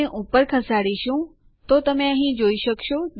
આપણે ડક નામનું એક નવું યુઝર બનાવી લીધું છે